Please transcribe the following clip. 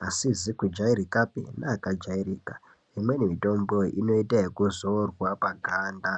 neasingazi kujairikapi neaka jairika imweni mitombo inoita yekuzorwa paganda.